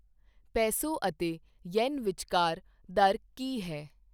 peso ਅਤੇ yen ਵਿਚਕਾਰ ਦਰ ਕੀ ਹੈ